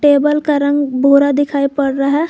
Table का रंग भूरा दिखाई पड़ रहा है।